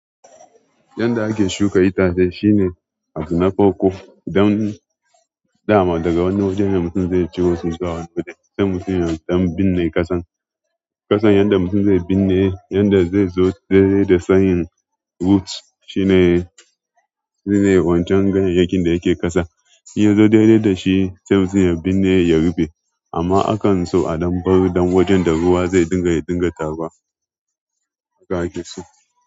Yanda ake shuka itace shine abu na farko don dama daga wani wajene mutum zai ciro zuwa wanna waje, to sai mutum ya ɗan binne ƙasan. Ƙasan yanda mutum zai binne, yanda zai zo daidai da sayen roots shine, shine wancan ganyayakin da yake ƙasa. Ya zo daidai da shi sai mutum ya binne ya rufe. Amma akanso a ɗan bar ɗan wajen da ruwa zai dinga ya dinga taruwa haka ake so.